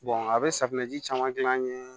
a bɛ safunɛ ji caman gilan an ye